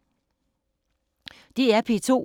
DR P2